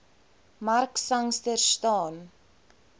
mark sangster staan